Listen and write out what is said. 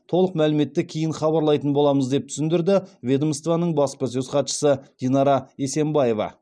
толық мәліметті кейін хабарлайтын боламыз деп түсіндірді ведомствоның баспасөз хатшысы динара есенбаева